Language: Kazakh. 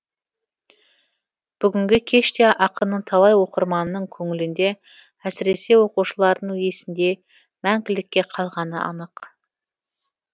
бүгінгі кеш те ақынның талай оқырманының көңілінде әсіресе оқушылардың есінде мәңгілікке қалғаны анық